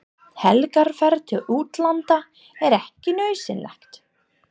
Helgarferð til útlanda er ekki nauðsynleg.